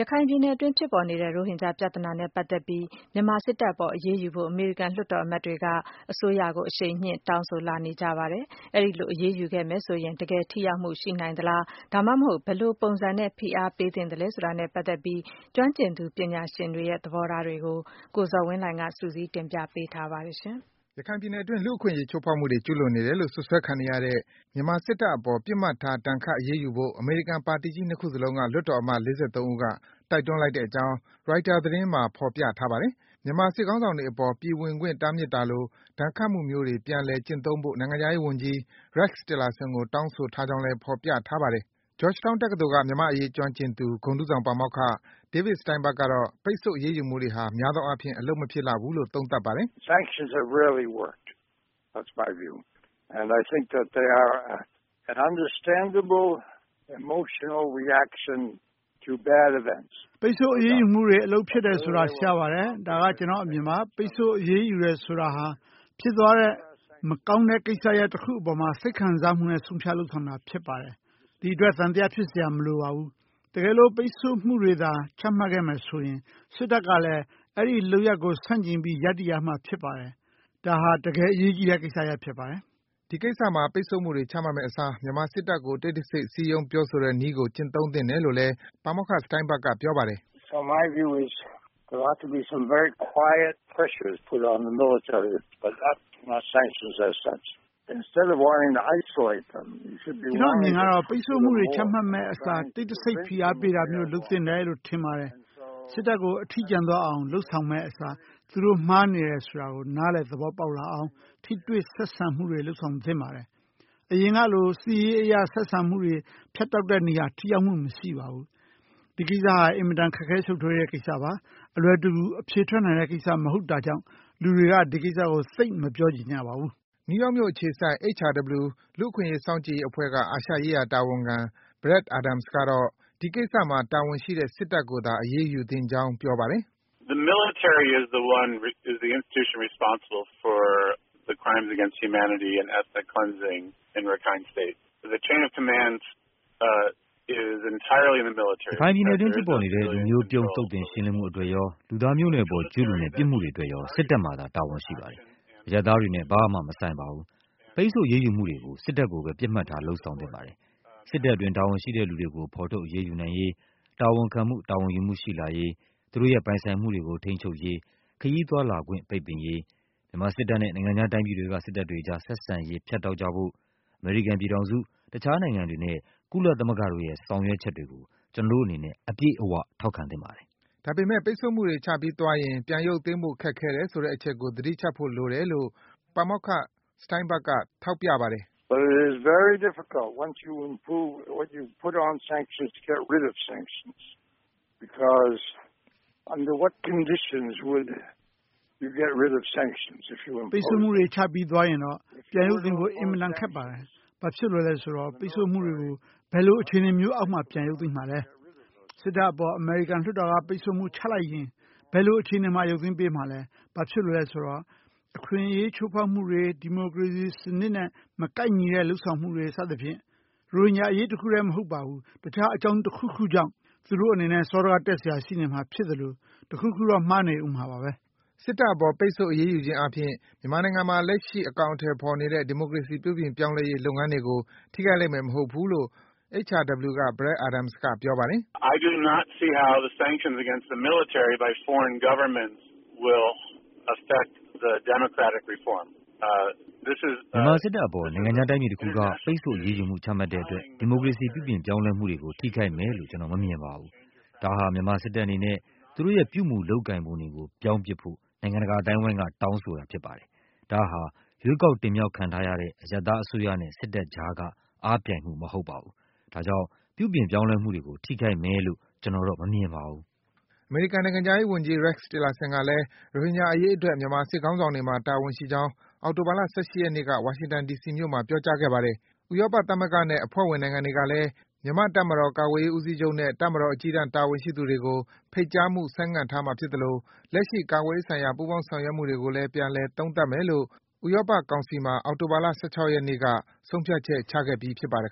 ခိုင်ပြည်နယ်အတွင်း ဖြစ်ပေါ်နေတဲ့ ရိုဟင်ဂျာပြဿနာနဲ့ ပတ်သက်ပြီး မြန်မာစစ်တပ်အပေါ် အရေးယူဖို့ အမေရိကန် လွှတ်တော် အမတ်တွေက အစိုးရကို အရှိန်မြင့် တောင်းဆိုလာနေကြပါတယ်။ အဲဒီလို အရေးယူခဲ့မယ်ဆိုရင် တကယ် ထိရောက်မှု ရှိနိုင်သလား၊ ဒါမှမဟုတ် ဘယ်လိုပုံစံနဲ့ ဖိအားပေးသင့်သလဲ ဆိုတာနဲ့ ပတ်သက်ပြီး ကျွမ်းကျင်သူ ပညာရှင်တွေရဲ့ သဘောထားတွေကို ကိုဇော်ဝင်းလှိုင်က စုစည်း တင်ပြပေးထားပါတယ်။ ရခိုင်ပြည်နယ်အတွင်း လူ့အခွင့်အရေး ချိုးဖောက်မှုတွေ ကျုးလွန်နေတယ်လို့ စွပ်စွဲခံနေရတဲ့ မြန်မာစစ်တပ်အပေါ် ပစ်မှတ်ထား ဒဏ်ခတ်အရေးယူဖို့ အမေရိကန် ပါတီကြီး ၂ ခုစလုံးက လွှတ်တော်အမတ် ၄၃ ဦးက တိုက်တွန်းလိုက်ကြောင်း Reuter သတင်းမှာ ဖော်ပြထားပါတယ်။ မြန်မာစစ်ခေါင်းဆောင်တွေအပေါ် ပြည်ဝင်ခွင့် တားမြစ်တာလို ဒဏ်ခတ်မှုမျိုးတွေ ပြန်လည်ကျင့်သုံးဖို့ နိုင်ငံခြားရေး ဝန်ကြီး Rex Tillerson ကို တောင်းဆိုထားကြောင်းလည်း ဖော်ပြထားပါတယ်။ Georgetown တက္ကသိုလ်က မြန်မာ့အရေး ကျွမ်းကျင်သူ ဂုဏ်ထူးဆောင် ပါမောက္ခ David Steinburg ကတော့ ပိတ်ဆို့ အရေးယူမှုတွေဟာ များသောအားဖြင့် အလုပ်မဖြစ်လှဘူးလို့ သုံးသပ်ပါတယ်။ “ပိတ်ဆို့အရေးယူမှုတွေ အလုပ်ဖြစ်တယ်ဆိုတာ ရှားပါတယ်။ ဒါက ကျနော့်အမြင်ပါ။ ပိတ်ဆို့ အရေးယူတယ်ဆိုတာဟာ ဖြစ်သွားခဲ့တဲ့ မကောင်းတဲ့ကိစ္စရပ် တခုအပေါ်မှာ စိတ်ခံစားမှုနဲ့ ဆုံးဖြတ် လုပ်ဆောင်တာ ဖြစ်ပါတယ်။ အဲဒီအတွက် သံသယ ဖြစ်စရာ မလိုပါဘူး။ တကယ်လို့ ပိတ်ဆို့မှုတွေသာ ချမှတ်ခဲ့မယ်ဆိုရင် စစ်တပ်ကလည်း အဲဒီ လုပ်ရပ်ကို ဆန့်ကျင်ပြီး ရပ်တည်ရမှာ ဖြစ်ပါတယ်။ ဒါဟာ တကယ် ဒီကိစ္စမှာ ပိတ်ဆို့မှုတွေ ချမှတ်မယ့်အစား မြန်မာစစ်တပ်ကို တိတ်တဆိတ် စည်းရုံး ပြောဆိုတဲ့နည်းကို ကျင့်သုံးသင့်တယ်လို့လဲ ပါမောက္ခ Steinburg က ပြောပါတယ်။ “ကျနော့်အမြင်ကတော့ ပိတ်ဆို့မှုတွေ ချမှတ်မယ့်အစား တိတ်တဆိတ် ဖိအားပေးတာမျိုး လုပ်သင့်တယ်လို့ ထင်ပါတယ်။ စစ်တပ်ကို အထီးကျန်သွားအောင် လုပ်ဆောင်မယ့်အစား သူတို့မှားနေပါတယ်ဆိုတာကို နားလည် သဘောပေါက်လာအောင် ထိတွေ့ ဆက်ဆံမှုတွေ လုပ်ဆောင်သင့်ပါတယ်။ အရင်ကလို စစ်ရေးအရ ဆက်ဆံမှုတွေ ဖြတ်တောက်တဲ့နည်းက ထိရောက်မှု မရှိပါဘူး။ ဒီကိစ္စဟာ အင်မတန် ခက်ခဲ ရှုပ်ထွေးနဲ့ကိစ္စပါ။ အလွယ်တကူ အဖြေထွက်နိုင်တဲ့ကိစ္စ မဟုတ်တာကြောင့် လူတွေက ဒီကိစ္စကို သိပ် မပြောချင်ကြပါဘူး။” နယူးယောက်မြို့အခြေစိုက် HRW လူ့အခွင့်အရေး စောင့်ကြည့်ရေးအဖွဲ့က အာရှရေးရာ တာဝန်ခံ Brad Adams ကတော့ ဒီကိစ္စမှာ တာဝန်ရှိတဲ့ စစ်တပ်ကိုသာ အရေးယူသင့်ကြောင်း ပြောပါတယ်။ “ရခိုင်ပြည်နယ်အတွင်း ဖြစ်ပေါ်နေတဲ့ လူမျိုးပြုန်း သုတ်သင် ရှင်းလင်းမှုအတွက်ရော၊ လူသားမျိုးနွယ်အပေါ် ကျူးလွန်တဲ့ ပြစ်မှုတွေအတွက်ရော စစ်တပ်မှာသာ တာဝန်ရှိပါတယ်။ အရပ်သားတွေနဲ့ ဘာမှ မဆိုင်ပါဘူး။ ပိတ်ဆို့အရေးယူမှုတွေကို စစ်တပ်ကိုသာ ပစ်မှတ်ထား လုပ်ဆောင် သင့်ပါတယ်။ စစ်တပ်အတွင်း တာဝန်ရှိတဲ့သူတွေကို ဖော်ထုတ် အရေးယူနိုင်ရေး၊ တာဝန်ခံမှု တာဝန်ယူမှု ရှိလာရေး၊ သူတို့ရဲ့ ပိုင်ဆိုင် မှုတွေကို ထိန်းချုပ်ရေး၊ ခရီးသွားလာခွင့် ပိတ်ပင်ရေး၊ မြန်မာစစ်တပ်နဲ့ နိုင်ငံခြားတိုင်းပြည်တွေက စစ်တပ်တွေအကြား ဆက်ဆံရေး ဖြတ်တောက်ကြဖို့ အမေရိကန်ပြည်ထောင်စု၊ တခြား နိုင်ငံတွေနဲ့ ကုလသမဂ္ဂတို့ရဲ့ ဆောင်ရွက်မှုတွေကို ကျနော်တို့အနေနဲ့ အပြည့်အ၀ ထောက်ခံသင့်ပါတယ်။” ဒါပေမယ့် ပိတ်ဆို့မှုတွေ ချပြီးသွားရင် ပြန်ရုပ်သိမ်းဖို့ ခက်ခဲတယ်ဆိုတဲ့ အချက်ကို သတိချပ်ဖို့လိုတယ်လို့ ပါမောက္ခ Steinburg က ထောက်ပြပါတယ်။ “ပိတ်ဆို့မှုတွေ ချပြီးသွားရင်တော့ ပြန်ရုပ်သိမ်းဖို့ အင်မတန် ခက်ပါတယ်။ ဘာဖြစ်လို့လည်းဆိုတော့ ပိတ်ဆို့မှုတွေကို ဘယ်လို အခြေအနေမျိုးအောက်မှာ ပြန်ရုပ်သိမ်းမှာလည်း။ စစ်တပ်အပေါ် အမေရိကန်လွှတ်တော်က ပိတ်ဆို့မှု ချမှတ်လိုက်ရင် ဘယ်အခြေအနေမျိုးမှာ ရုပ်သိမ်းပေးမှာလဲ။ ဘာဖြစ်လို့လဲဆိုတော့ အခွင့်အရေး ချိုးဖောက်မှုတွေ၊ ဒီမိုကရေစီ စံနစ်နဲ့ မကိုက်ညီတဲ့ လုပ်ဆောင်မှုတွေ စသဖြင့် ရိုဟင်ဂျာ အရေးတခုထဲမဟုတ်ဘဲ တခြား အကြောင်းတခုခုအတွက် သူတို့အနေနဲ့ စောဒကတက်စရာ ရှိနေမှာဖြစ်သလို၊ တခုခုတော့ မှားနေဦးမှာပါဘဲ။” စစ်တပ်အပေါ် ပိတ်ဆို့ အရေးယူခြင်းအားဖြင့် မြန်မာနိုင်ငံမှာ လက်ရှိ အကောင်အထည်ဖော်နေတဲ့ ဒီမိုကရေစီ ပြုပြင် ပြောင်းလဲရေး လုပ်ငန်းတွေကို ထိခိုက်လိမ့်မယ်မဟုတ်ကြောင်း HRW က Brad Adams က ပြောပါတယ်။ “မြန်မာ စစ်တပ်အပေါ် နိုင်ငံခြားတိုင်းပြည်တခုက ပိတ်ဆို့ အရေးယူမှု ချမှတ်တဲ့အတွက် ဒီမိုကရေစီ ပြုပြင်ပြောင်းလဲမှုတွေကို ထိခိုက်မယ်လို့ ကျနော် မမြင်ပါဘူး။ ဒါဟာ မြန်မာစစ်တပ်အနေနဲ့ သူတို့ရဲ့ ပြုမူ၊ လုပ်ကိုင်ပုံတွေကို ပြောင်းပစ်ဖို့ နိုင်ငံတကာ အသိုင်းဝိုင်းက တောင်းဆိုတာ ဖြစ်ပါတယ်။ ဒါဟာ ရွေးကောက် တင်မြောက်ခံထားရတဲ့ အရပ်သားအစိုးရနဲ့ စစ်တပ်အကြားက အားပြိုင်မှု မဟုတ်ပါဘူး။ ဒါကြောင့် ပြုပြင် ပြောင်းလဲမှုတွေကို ထိခိုက်မယ်လို့ ကျနော်မမြင်ပါဘူး။” အမေရိကန်နိုင်ငံခြားရေးဝန်ကြီး Rex Tillerson ကလည်း ရိုဟင်ဂျာ အရေးအတွက် မြန်မာစစ်ခေါင်းဆောင်တွေမှာ တာဝန်ရှိကြောင်း အောက်တိုဘာလ ၁၈ ရက်နေ့က ဝါရှင်တန် ဒီစီမြို့မှာ ပြောကြားခဲ့ပါတယ်။ ဥရောပသမဂ္ဂနဲ့ အဖွဲ့ဝင် နိုင်ငံတွေကလည်း မြန်မာ့ တပ်မတော် ကာကွယ်ရေး ဦးစီးချုပ်နဲ့ တပ်မတော် အကြီးတန်း တာဝန်ရှိသူတွေကို ဖိတ်ကြားမှု ဆိုင်းငံ့ထားမှာ ဖြစ်သလို လက်ရှိ ကာကွယ်ရေးဆိုင်ရာ ပူးပေါင်း ဆောင်ရွက်မှုတွေကိုလည်း ပြန်လည် သုံးသပ်မယ်လို့ ဥရောပ ကောင်စီမှာ အောက်တိုဘာလ ၁၆ ရက်နေ့က ဆုံးဖြတ်ချက် ချခဲ့ပြီး ဖြစ်ပါတယ်